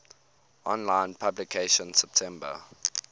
online publication september